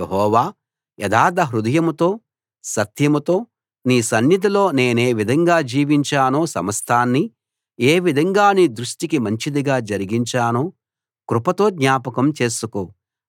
యెహోవా యథార్థ హృదయంతో సత్యంతో నీ సన్నిధిలో నేనేవిధంగా జీవించానో సమస్తాన్నీ ఏ విధంగా నీ దృష్టికి మంచిదిగా జరిగించానో కృపతో జ్ఞాపకం చేసుకో